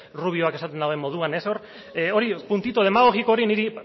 rubioak esaten duen moduan puntito demagogiko hori niri